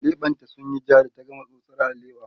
leɓen ta sunyi jaa da ta gama tsotsar alewa